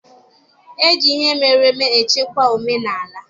E ji ihe emereme echekwaba omenala.